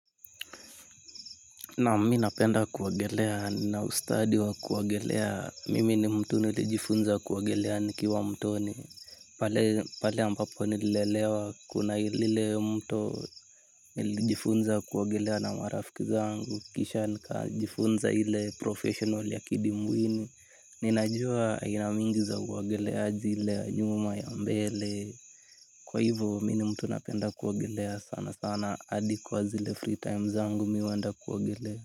Naam mi napenda kuogelea, na ustadi wa kuwagelea, mimi ni mtu nilijifunza kuogelea nikiwa mtoni, pale ambapo nililelewa kuna lilile mto nilijifunza kuogelea na marafiki zangu, kisha nika jifunza ile professional ya kidimbwini, ninajua aina mingi za uogeleaji ile ya nyuma ya mbele, kwa hivo mi ni mtu napenda kuogelea sana sana hadi kwa zile free time zangu mi huwenda kuogelea.